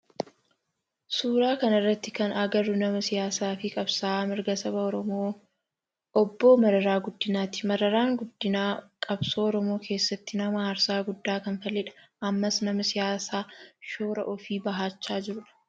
Suuraa kana irratti kan agarru nama siyaasaa fi qabsa'aa mirga saba oromoo obboo Mararaa Guddinaati. Mararaan Guddinaa qabsoo oromoo keessatti nama aarsaa guddaa kanfaledha. Ammas nama siyaasa shoora ofii bahaachaa jirudha.